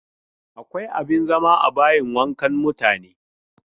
Akwa abin zama a bayin wankan mutane.